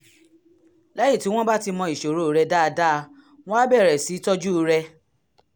lẹ́yìn tí wọ́n bá ti mọ ìṣòro rẹ dáadáa wọ́n á bẹ̀rẹ̀ sí í tọ́jú rẹ